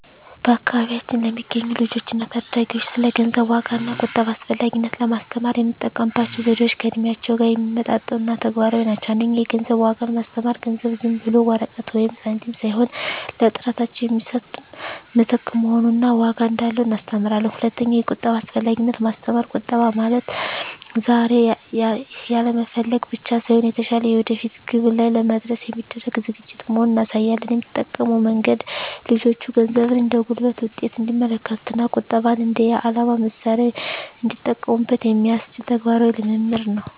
በአካባቢያችን ለሚገኙ ልጆች እና ታዳጊዎች ስለ ገንዘብ ዋጋ እና ቁጠባ አስፈላጊነት ለማስተማር የምንጠቀምባቸው ዘዴዎች ከእድሜያቸው ጋር የሚመጣጠኑ እና ተግባራዊ ናቸው። 1) የገንዘብ ዋጋን ማስተማር ገንዘብ ዝም ብሎ ወረቀት ወይም ሳንቲም ሳይሆን ለጥረታቸው የሚሰጥ ምትክ መሆኑን እና ዋጋ እንዳለው እናስተምራለን። 2)የቁጠባ አስፈላጊነትን ማስተማር ቁጠባ ማለት ዛሬ ያለመፈለግ ብቻ ሳይሆን፣ የተሻለ የወደፊት ግብ ላይ ለመድረስ የሚደረግ ዝግጅት መሆኑን እናሳያለን። የምንጠቀመው መንገድ ልጆቹ ገንዘብን እንደ ጉልበት ውጤት እንዲመለከቱት እና ቁጠባን እንደ የዓላማ መሣሪያ እንዲጠቀሙበት የሚያስችል ተግባራዊ ልምምድ ነው።